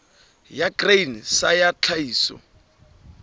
ya grain sa ya tlhahiso